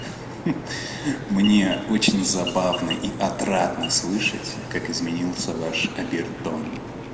ха-ха мне очень забавно и отрадно слышать как изменился ваш обертон